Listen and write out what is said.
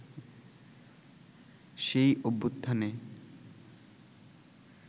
সেই অভ্যুত্থানে